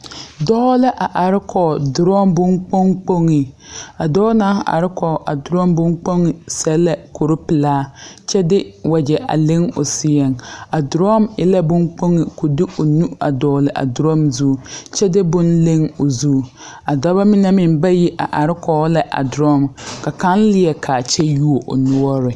Dɔɔ la a are kɔg drɔm bon kpoŋkpoŋe a dɔɔ naŋ are kɔge a drɔm bonkpoŋe sɛ la kure pelaa kyɛ de wagyɛ a leŋ o seɛŋ a drɔm e la bonkpoŋe ko de o nu a dɔɔle a drɔm zu kyɛ de bon leŋ o zu a dɔbɔ mine meŋ bayi a are kɔge la a drɔm ka kaŋ leɛ kaa kyɛ yuo o noɔre.